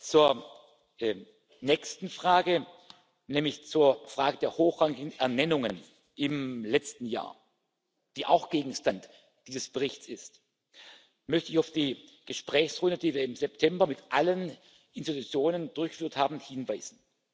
Zur nächsten Frage, nämlich zur Frage der hochrangigen Ernennungen im letzten Jahr, die auch Gegenstand dieses Berichts ist, möchte ich auf die Gesprächsrunde, die wir im September mit allen Organen durchgeführt haben, hinweisen.